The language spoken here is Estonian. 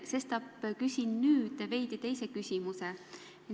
Sestap küsin nüüd veidi teistsuguse küsimuse.